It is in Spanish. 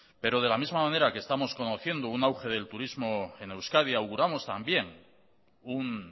pero de la misma manera que estamos conociendo un auge del turismo en euskadi auguramos también un